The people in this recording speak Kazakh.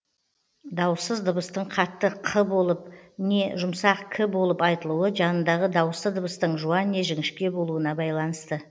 дауыссыз дыбыстың қатты қ болып не жұмсақ к болып айтылуы жанындағы дауысты дыбыстың жуан не жіңішке болуына байланысты